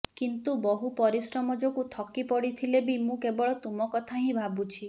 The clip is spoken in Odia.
କିନ୍ତୁ ବହୁ ପରିଶ୍ରମ ଯୋଗୁ ଥକିପଡ଼ିଥିଲେ ବି ମୁଁ କେବଳ ତୁମକଥା ହିଁ ଭାବୁଛି